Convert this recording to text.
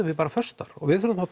við bara föst þar og við þurfum þá